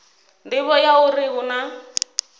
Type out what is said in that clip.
nḓivho ya uri hu na